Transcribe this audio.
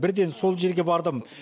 бірден сол жерге бардым